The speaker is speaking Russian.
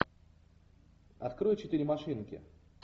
открой четыре машинки